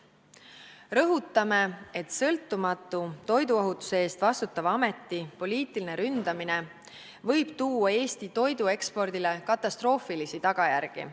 Rõhutame, et sõltumatu, toiduohutuse eest vastutava ameti poliitiline ründamine võib tuua Eesti toiduekspordile katastroofilisi tagajärgi.